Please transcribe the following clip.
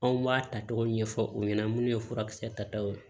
Anw b'a ta togo ɲɛfɔ u ɲɛna minnu ye furakisɛ taw ye